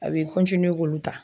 A bi k'olu ta.